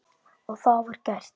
Og það var gert.